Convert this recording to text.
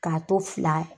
K'a to fila ye